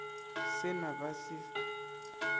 se na se ba se